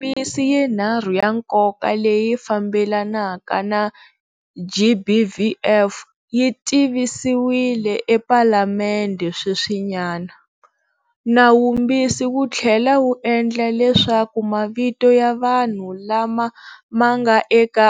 Milawumbisi yinharhu ya nkoka leyi fambelanaka na, GBVF, yi tivisiwile ePalamende sweswinyana. Nawumbisi wu tlhela wu endla leswaku mavito ya vanhu lama ma nga eka